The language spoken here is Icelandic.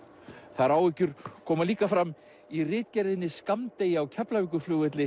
þær áhyggjur koma líka fram í ritgerðinni skammdegi á Keflavíkurflugvelli